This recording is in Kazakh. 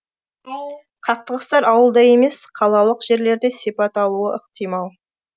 қақтығыстар ауылда емес қалалық жерлерде сипат алуы ықтимал